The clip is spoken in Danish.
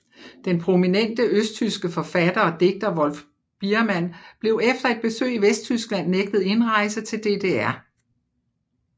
Den prominente østtyske forfatter og digter Wolf Biermann blev efter et besøg i Vesttyskland nægtet indrejse til DDR